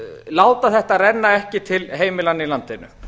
láta þetta renna ekki til heimilanna í landinu